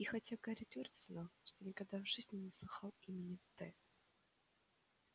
и хотя гарри твёрдо знал что никогда в жизни не слыхал имени т